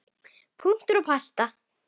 Punktur og basta.